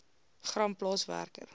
gram plaas werker